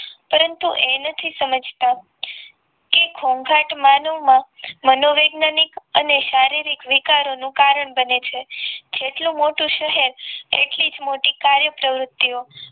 પરંતુ એ નથી સમજતા કે ઘોંઘાટ માનવમા મનોવૈજ્ઞાનિક અને શારીરિક વીકારોનું કારણ બને છે જેટલું મોટું શહેર એટલે મોટી જ કાર્ય પ્રવૃત્તિઓ